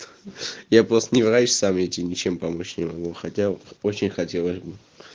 я просто не врач сам я тебе ничем помочь не могу хотя очень хотелось бы